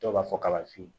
Dɔw b'a fɔ kalafili